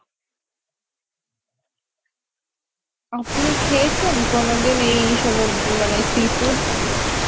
আপনি খেয়েছেন কোনদিন এই সমুদ্র মানে seafood?